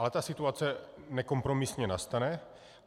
Ale ta situace nekompromisně nastane.